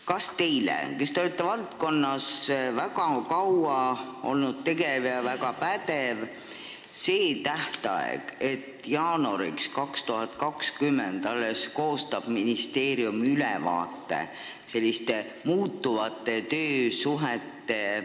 Kas teile, kes te olete selles valdkonnas väga kaua tegev olnud ja väga pädev, ei tundu praeguste muutuvate töösuhete valguses see tähtaeg liiga pikk?